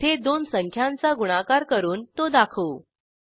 येथे दोन संख्यांचा गुणाकार करून तो दाखवू